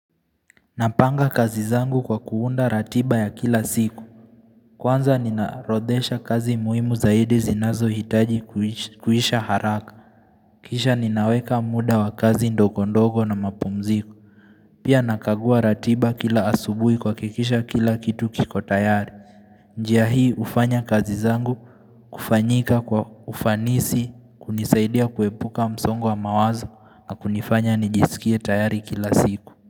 Napanga kazi zangu kwa kuunda ratiba ya kila siku. Kwanza ninaorodhesha kazi muhimu zaidi zinazohitaji kuisha haraka. Kisha ninaweka muda wa kazi ndogondogo na mapumziko. Pia nakagua ratiba kila asubuhi kuhakikisha kila kitu kiko tayari. Njia hii hufanya kazi zangu kufanyika kwa ufanisi kunisaidia kuepuka msongo wa mawazo na kunifanya nijisikie tayari kila siku.